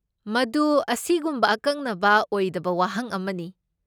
ꯃꯗꯨ ꯑꯁꯤꯒꯨꯝꯕ ꯑꯀꯛꯅꯕ ꯑꯣꯏꯗꯕ ꯋꯥꯍꯪ ꯑꯃꯅꯤ ꯫